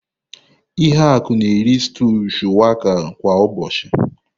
Ihuaku na-eri stúu shuwaka kwa ụbọchị.